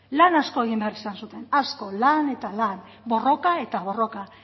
lan asko egin behar izan zuten asko lan eta lan borroka eta borroka